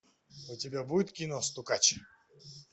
у тебя будет кино стукач